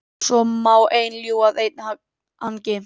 Svo má einn ljúga að einn hangi.